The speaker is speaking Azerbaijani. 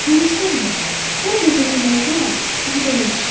Görürsənmi, orada zəmilərdə buğda yetişir.